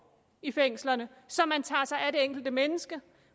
i fængslerne så man tager sig af det enkelte menneske